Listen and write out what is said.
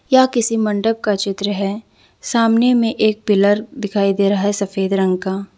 यह किसी मंडप का चित्र है सामने में एक पिलर दिखाई दे रहा है सफेद रंग का।